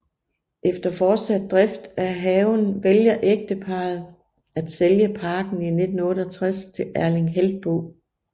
Efter fortsat drift af haven vælger ægteparret at sælge parken i 1968 til Erling Heltboe